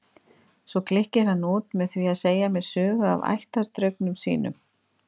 Svo klykkir hann út með því að segja mér sögu af ættardraugnum sínum.